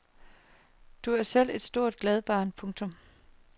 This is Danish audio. Du er selv et stort glad barn. punktum